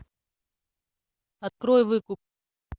открой выкуп